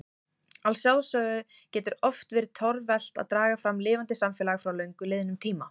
Að sjálfsögðu getur oft verið torvelt að draga fram lifandi samfélag frá löngu liðnum tíma.